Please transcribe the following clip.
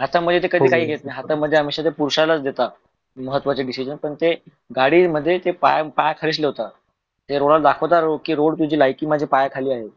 हातामध्ये काय काय घेत नाहे, हातामध्ये ते हमेश्या पुरुशला देता महत्वाचे decision पण ते गाडीमध्ये पाय खेचल होत ते रोडला दाखवतात कि रोड तुझी लायकी मझ्या पायाखाली आहे